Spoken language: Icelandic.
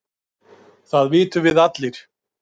Það vitum við allir